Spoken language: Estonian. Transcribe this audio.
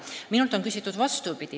Minult on aga küsitud ka vastupidi.